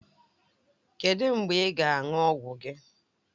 Kedụ mgbe ị ga-aṅụ ọgwụ gị?